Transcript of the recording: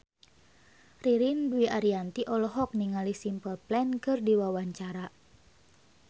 Ririn Dwi Ariyanti olohok ningali Simple Plan keur diwawancara